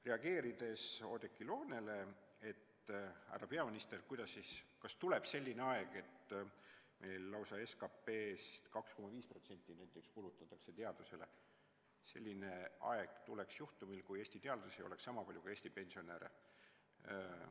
Reageerides Oudekki Loone sõnadele, kes küsis härra peaministrilt, kas tuleb selline aeg, kui lausa 2,5% SKT-st kulutatakse teadusele, ütlen, et selline aeg tuleks siis, kui Eestis oleks teadlasi niisama palju kui pensionäre.